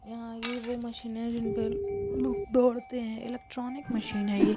यहाँ ये वो मशीन है जिनपे लोग दौड़ते है इलेक्ट्रॉनिक मशीन है ये--